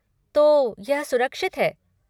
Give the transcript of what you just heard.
तो यह सुरक्षित है।